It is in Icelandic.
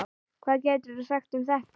Hvað geturðu sagt um þetta?